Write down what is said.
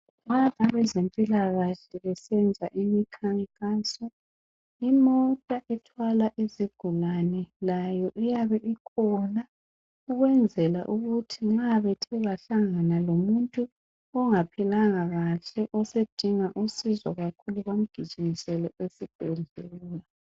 abezempilakahle besenza imkhankaso imota ethwala izigulane layo iyabe ikhona ukwenzela ukuthi nxa bethe bahlangana lomuntu ongaphilanga kahle osedinga usizo kakhulu bamgijimisele esibhedlela